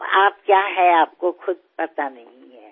আপনি কি আপনি নিজেও সেটা জানেন না